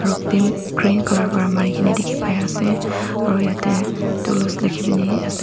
green colour pra marikena dekhe pai ase aro yathe Dulux lekhikene ase.